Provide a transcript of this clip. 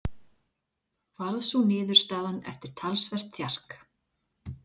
Varð sú niðurstaðan eftir talsvert þjark.